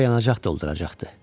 Burda yanacaq dolduracaqdı.